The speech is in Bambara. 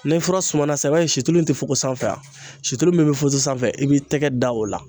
Ni fura suma na sisan i b'a ye situlu in tɛ fugo sanfɛ situlu min bɛ fogo sanfɛ i b'i tɛgɛ da o la